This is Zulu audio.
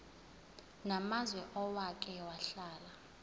namazwe owake wahlala